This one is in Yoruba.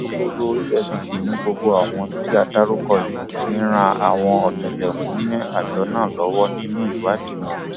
alūkkóró efcc ni gbogbo àwọn tí a dárúkọ yìí ti ń ran àwọn ọtẹlẹmúyẹ àjọ náà lọwọ nínú ìwádìí wọn